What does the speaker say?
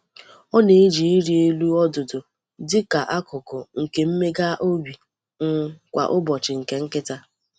Ọ na-eji ịrị elu ọdụdụ dị ka akụkụ nke mmega obi um kwa ụbọchị nke nkịta.